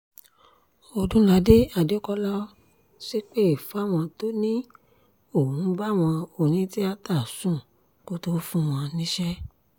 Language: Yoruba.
ọdúnládé adékọlá ṣépè fáwọn tó ní ó ń báwọn obìnrin onítìata sùn kó tóó fún wọn níṣẹ́